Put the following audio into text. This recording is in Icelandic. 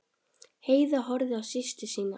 Heiða horfði á systur sína.